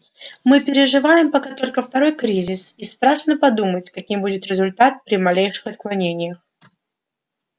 мы переживаем пока только второй кризис и страшно подумать каким будет результат при малейших отклонениях